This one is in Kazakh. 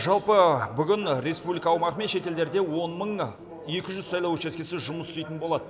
жалпы бүгін республика аумағы мен шетелдерде он мың екі жүз сайлау учаскесі жұмыс істейтін болады